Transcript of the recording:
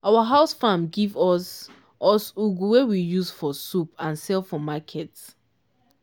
our house farm give us us ugu wey we use for soup and sell for market.